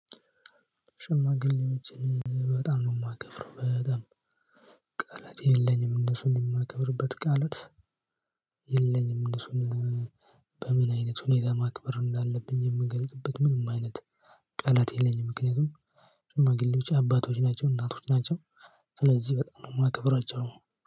ሽማግሌዎችን በጣም ነው የማከብረው በጣም ቃላት የለኝም እነሱን የማከብርበት ቃላት የለኝም። እነሱን በምን አይነት ሁኔታ ማክበር እንዳለብኝ የምገልጽበት ምንም አይነት ቃላት የለኝም። ምክንያቱም ሽማግሌዎች አባቶች ናቸው እናቶች ናቸው። ስለዚህ በጣም ነው የማከብራቸው።